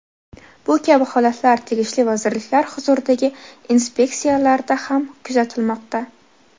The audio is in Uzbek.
Bu kabi holatlar tegishli vazirliklar huzuridagi inspeksiyalarda ham kuzatilmoqda.